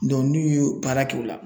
n'u y'o baara kɛ o la